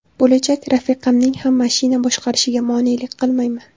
Bo‘lajak rafiqamning ham mashina boshqarishiga monelik qilmayman.